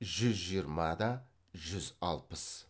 жүз жиырма да жүз алпыс